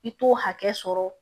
I t'o hakɛ sɔrɔ